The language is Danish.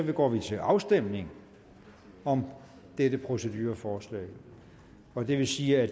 går vi til afstemning om dette procedureforslag og det vil sige at